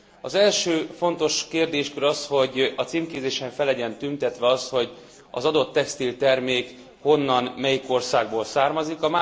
Az első fontos kérdéskör az, hogy a címkézésen fel legyen tüntetve az, hogy az adott textiltermék honnan, melyik országból származik.